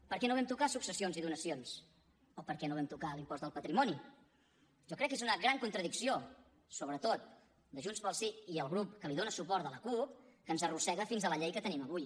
per què no vam tocar successions i donacions o per què no vam tocar l’impost del patrimoni jo crec que és una gran contradicció sobretot de junts pel sí i el grup que li dona suport de la cup que ens arrossega fins a la llei que tenim avui